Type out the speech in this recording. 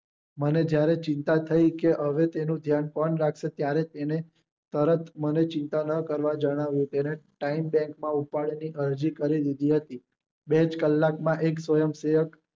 મને જયારે ચિંતા થઇ કે હવે તેનું ધ્યાન કોણ રાખશે ત્યારે તેને તરત મને ચિંતા માં જણાવ્યું કે time bank માં ઉપાડ ની અરજી કરી દીધી હતી બે જ કલાકમાં એક સ્વયંસેવક